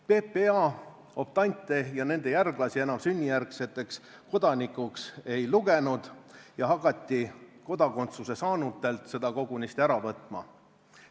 PPA optante ja nende järglasi enam sünnijärgseteks kodanikeks ei lugenud ja hakati kodakondsuse saanutelt seda kogunisti ära võtma.